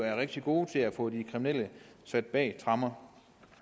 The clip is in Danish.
er rigtig gode til at få de kriminelle sat bag tremmer